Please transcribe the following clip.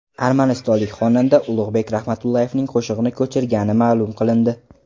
Armanistonlik xonanda Ulug‘bek Rahmatullayevning qo‘shig‘ini ko‘chirgani ma’lum qilindi.